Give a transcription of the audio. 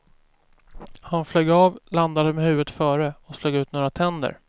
Han flög av, landade med huvudet före och slog ut några tänder.